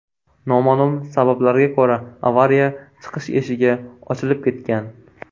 Noma’lum sabablarga ko‘ra avariya chiqish eshigi ochilib ketgan.